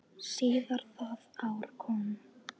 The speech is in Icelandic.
Síðar það ár kom